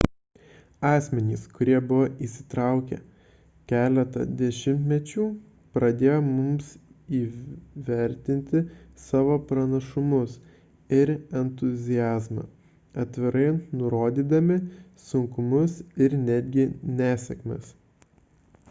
asmenys kurie buvo įsitraukę keletą dešimtmečių padėjo mums įvertinti savo pranašumus ir entuziazmą atvirai nurodydami sunkumus ir netgi nesėkmes